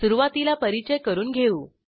सुरूवातीला परिचय करून घेऊ